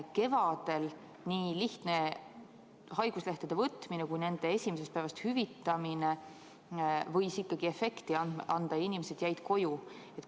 Kevadel võis nii lihtne haiguslehtede võtmine kui ka nende esimesest päevast hüvitamine ikkagi efekti anda ja inimesed jäid koju.